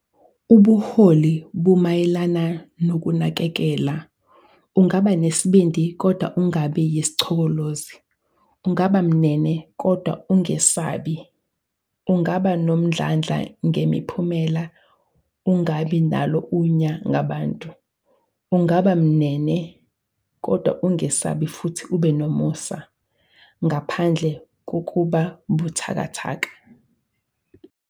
Ubuholi bumayelana nokunakekela- Ungaba nesibindi, kodwa ungabi yisichokolozi, ungaba mnene, kodwa ungesabi, ungaba nomdlandla ngemiphumela, ungabi nalo unya ngabantu, ungaba mnene, kodwa ungesabi futhi ube nomusa, ngaphandle kukuba buthakathaka.'